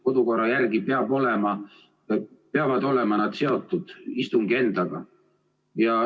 Kodukorra järgi peavad protseduurilised küsimused olema seotud istungi endaga.